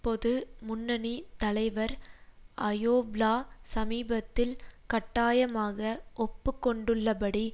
பொது முன்னணி தலைவர் அயோவ்லா சமீபத்தில் கட்டாயமாக ஒப்பு கொண்டுள்ள படி